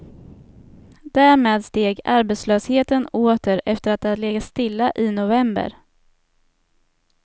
Därmed steg arbetslösheten åter efter att ha legat stilla i november.